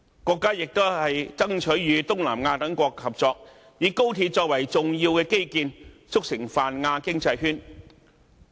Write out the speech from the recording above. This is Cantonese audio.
國家亦都爭取與東南亞等國家合作，以高鐵作為重要的基建，促成泛亞經濟圈。